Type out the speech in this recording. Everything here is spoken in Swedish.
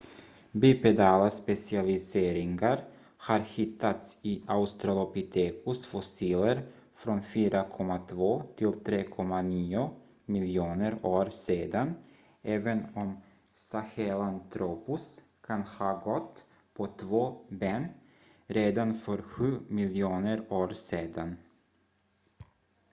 bipedala specialiseringar har hittats i australopithecus-fossiler från 4,2-3,9 miljoner år sedan även om sahelanthropus kan ha gått på två ben redan för sju miljoner år sedan